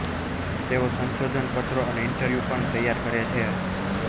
તેઓ સંશોધન પત્રો અને ઈન્ટરવ્યુ પણ તૈયાર કરે છે